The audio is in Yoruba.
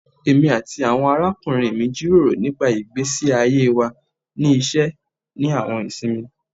Emi ati awọn arakunrin mi jiroro nipa igbesi aye wa ni iṣẹ ni awọn isinmi